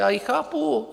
Já ji chápu.